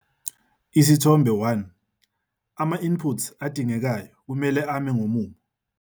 Isithombe 1- Ama-inputs adingekayo kumele ame ngomumo.